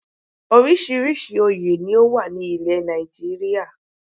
Orísìírísìí oyè ni ó wà ní ilẹ̀ Nàìjíríà